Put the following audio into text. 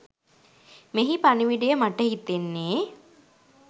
මෙහි පණිවිඩය මට හිතෙන්නේ